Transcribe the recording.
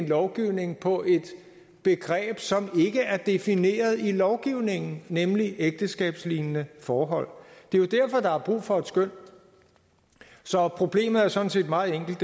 lovgivningen på et begreb som ikke er defineret i lovgivningen nemlig begrebet ægteskabslignende forhold det er derfor der er brug for et skøn så problemet er sådan set meget enkelt